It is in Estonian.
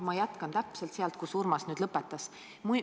Ma jätkan täpselt sealt, kus Urmas lõpetas.